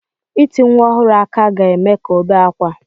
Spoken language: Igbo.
Ịti nwa ọhụrụ aka ga-eme ka ọ bee ákwá.